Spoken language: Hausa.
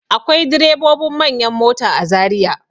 Akwai direbobin manyan mota a Zariya.